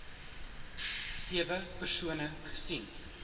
sewe persone gesien